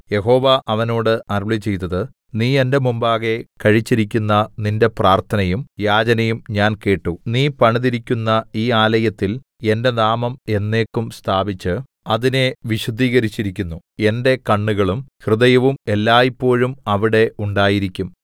യഹോവ അവനോട് അരുളിച്ചെയ്തത് നീ എന്റെ മുമ്പാകെ കഴിച്ചിരിക്കുന്ന നിന്റെ പ്രാർത്ഥനയും യാചനയും ഞാൻ കേട്ടു നീ പണിതിരിക്കുന്ന ഈ ആലയത്തിൽ എന്റെ നാമം എന്നേക്കും സ്ഥാപിച്ച് അതിനെ വിശുദ്ധീകരിച്ചിരിക്കുന്നു എന്റെ കണ്ണുകളും ഹൃദയവും എല്ലായ്പോഴും അവിടെ ഉണ്ടായിരിക്കും